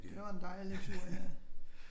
Det var en dejlig tur ja